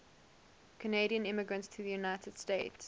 canadian immigrants to the united states